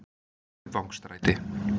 Kaupvangsstræti